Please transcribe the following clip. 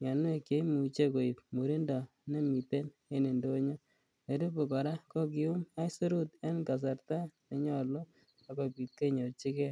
mianwek che imuche koit murindo nemiten en indonyo. Nerube kora ko kiyum aisirut en kasarta nenyalu ak kopit kenyorchige.